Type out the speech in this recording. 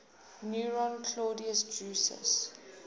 nero claudius drusus